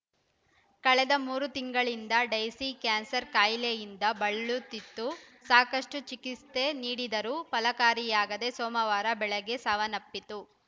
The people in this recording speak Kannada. ಕಳೆದ ಮೂರು ತಿಂಗಳಿಂದ ಡೈಸಿ ಕ್ಯಾನ್ಸರ್‌ ಕಾಯಿಲೆಯಿಂದ ಬಳಲುತ್ತಿತ್ತು ಸಾಕಷ್ಟುಚಿಕಿತ್ಸೆ ನೀಡಿದರೂ ಫಲಕಾರಿಯಾಗದೆ ಸೋಮವಾರ ಬೆಳಗ್ಗೆ ಸಾವನ್ನಪ್ಪಿತು